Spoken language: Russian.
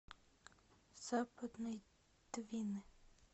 западной двины